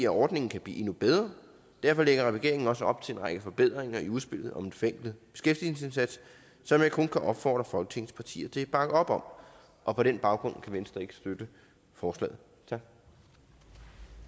ordningen kan blive endnu bedre og derfor lægger regeringen også op til en række forbedringer i udspillet om en forenklet beskæftigelsesindsats som jeg kun kan opfordre folketingets partier til at bakke op om og på den baggrund kan venstre ikke støtte forslaget